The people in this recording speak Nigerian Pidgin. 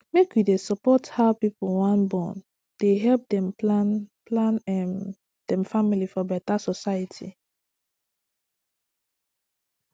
make wey dey support how pipu wan born dey help dem plan plan um dem family for beta society